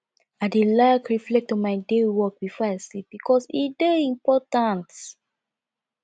i dey like reflect on my day work before i sleep bikos e dey important